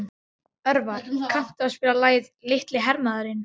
Örvar, kanntu að spila lagið „Litli hermaðurinn“?